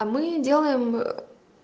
а мы делаем